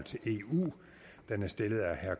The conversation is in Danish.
den